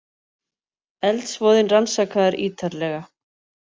Eldsvoðinn rannsakaður ýtarlega